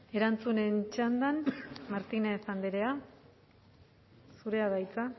erantzunen txandan martínez andrea zurea da hitza